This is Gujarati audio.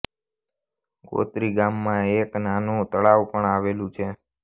ગોત્રી ગામમાં એક નાનું તળાવ પણ આવેલું છે